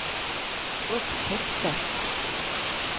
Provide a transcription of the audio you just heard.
upptäckte